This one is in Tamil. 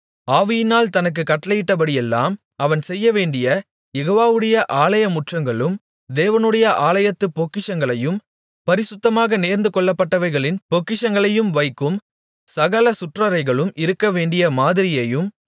ஆவியினால் தனக்குக் கட்டளையிடப்பட்டபடியெல்லாம் அவன் செய்யவேண்டிய யெகோவாவுடைய ஆலயமுற்றங்களும் தேவனுடைய ஆலயத்துப் பொக்கிஷங்களையும் பரிசுத்தமாக நேர்ந்துகொள்ளப்பட்டவைகளின் பொக்கிஷங்களையும் வைக்கும் சகல சுற்றறைகளும் இருக்கவேண்டிய மாதிரியையும்